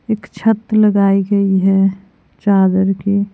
एक छत लगाई गई है चादर की--